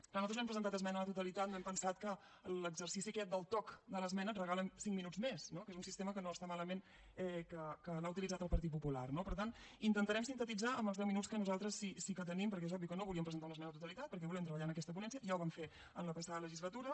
clar nosaltres no hem presentat esmena a la totalitat no hem pensat que l’exercici aquest del toc de l’esmena et regalen cinc minuts més no que és un sistema que no està malament que l’ha utilitzat el partit popular no per tant intentarem sintetitzar en els deu minuts que nosaltres sí que tenim perquè és obvi que no volíem presentar una esmena a la totalitat perquè volem treballar en aquesta ponència ja ho vam fer en la passada legislatura